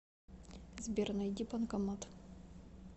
сбер найди банкомат